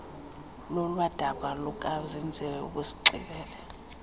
lolwadaba lukazenzile ubusixelela